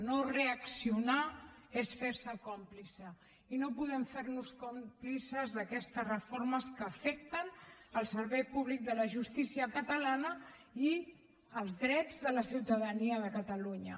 no reaccionar és fer se còmplice i no podem fer nos còmplices d’aquestes reformes que afecten el servei públic de la justícia catalana i els drets de la ciutadania de catalunya